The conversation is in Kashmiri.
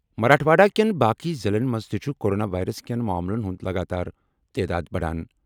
مراٹھواڑہ کٮ۪ن باقٕے ضِلعن منٛز تہِ چھُ کورونا وائرس کین معاملن ہُنٛد لگاتار تعداد بڑان۔